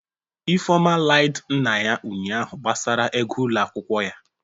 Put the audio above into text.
Ifeoma Iied nna ya ụnyahụ gbasara ego ụlọ akwụkwọ ya